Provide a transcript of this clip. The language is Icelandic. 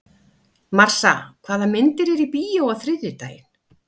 Marsa, hvaða myndir eru í bíó á þriðjudaginn?